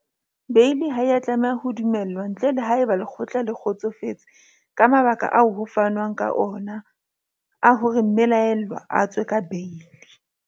Beili ha e a tlameha ho dumellwa ntle le haeba lekgotla le kgotsofetse ke mabaka ao ho fanwang ka ona a hore mme laellwa a tswe ka beili.